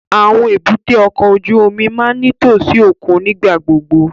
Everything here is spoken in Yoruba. Awọn èbúté ọkọ ojú omi máa ǹ nitosi okun nigbagbogbo